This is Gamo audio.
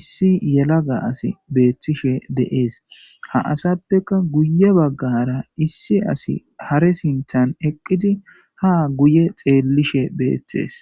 issi yelaga asi beethtishe deees ha asappeka guye baggara issi asi hare sinthan eqqidi ha guye xeellishe beeththees